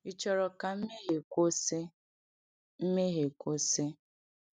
Ị chọrọ ka mmehie kwụsị? mmehie kwụsị?